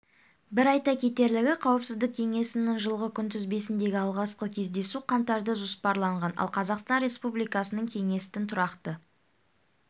бір айта кетерлігі қауіпсіздік кеңесінің жылғы күнтізбесіндегі алғашқы кездесу қаңтарда жоспарланған ал қазақстан республикасының кеңестің тұрақты